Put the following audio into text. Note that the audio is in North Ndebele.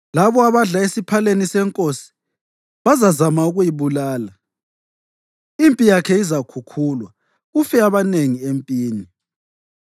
Labo abadla esiphaleni senkosi bazazama ukuyibulala; impi yakhe izakhukhulwa, kufe abanengi empini.